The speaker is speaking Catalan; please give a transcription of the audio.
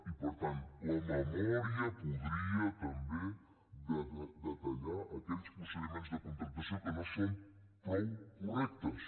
i per tant la memòria podria també detallar aquells procediments de contractació que no són prou correctes